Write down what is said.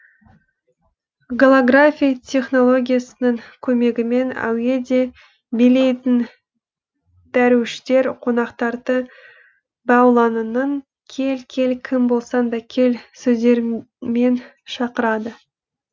голографи технологиясының көмегімен әуеде билейтін дәруіштер қонақтарды маулананың кел кел кім болсаң да кел сөздерімен шақырады